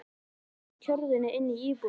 Það var allt með kyrrum kjörum inni í íbúðinni.